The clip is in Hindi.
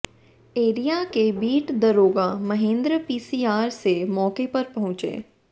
एरिया के बीट दरोगा महेंद्र पीसीआर से मौके पर पहुंचे